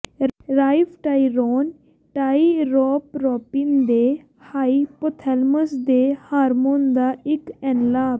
ਰਾਈਫਟਾਈਰੋਨ ਟਾਇਰੋਪਰੋਪਿਨ ਦੇ ਹਾਇਪੋਥੈਲਮਸ ਦੇ ਹਾਰਮੋਨ ਦਾ ਇੱਕ ਐਨਲਾਪ